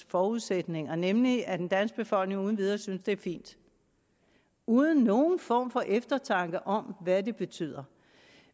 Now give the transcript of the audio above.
forudsætningerne nemlig at den danske befolkning uden videre synes at det er fint uden nogen form for eftertanke om hvad det betyder